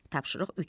Tapşırıq üç.